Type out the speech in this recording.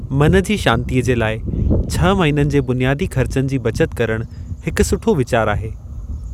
मन जी शांति जे लाइ, छह महीननि जे बुनियादी ख़र्चनि जी बचत करणु, हिकु सुठो वीचारु आहे।